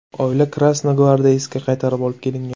Oila Krasnogvardeyskka qaytarib olib kelingan.